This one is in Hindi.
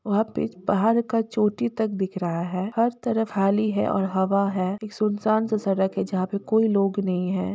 वहाॅं पे पहाड़ का चोटी तक दिख रहा है हर तरफ हाली है और हवा है एक सुनसान सा सड़क है जहाॅं पे कोई लोग नहीं है।